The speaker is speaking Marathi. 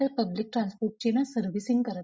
पब्लिक ट्रान्सपोर्ट ची ना सर्विसिंग करत नाही.